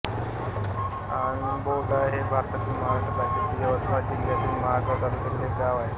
आंबोडा हे भारतातील महाराष्ट्र राज्यातील यवतमाळ जिल्ह्यातील महागांव तालुक्यातील एक गाव आहे